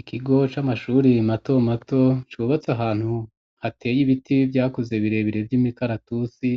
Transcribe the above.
Ikigo c'amashuri mato mato cubatse ahantu hateye ibiti vyakuze birebere vy'imikaratusi,